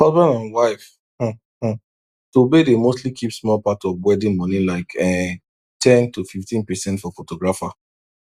husband and wife um um tobe dey mostly keep small part of wedding money like um ten to 15 percent for photographer